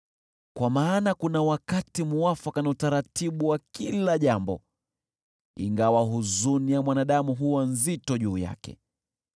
Kwa maana kuna wakati muafaka na utaratibu wa kila jambo, ingawa huzuni ya mwanadamu huwa nzito juu yake.